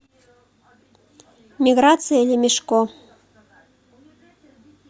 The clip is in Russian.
миграция лемешко